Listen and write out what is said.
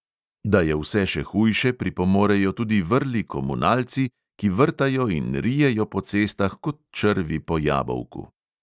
Da je vse še hujše, pripomorejo tudi vrli komunalci, ki vrtajo in rijejo po cestah kot črvi po jabolku.